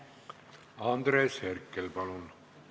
Andres Herkel, palun!